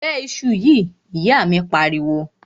Bẹ iṣu yìí! ìyá míì pariwo.